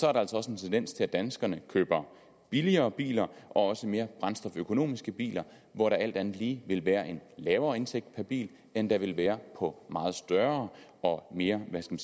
er der altså også en tendens til at danskerne køber billigere biler og også mere brændstoføkonomiske biler hvor der alt andet lige vil være en lavere indtægt per bil end der vil være på meget større og mere hvad skal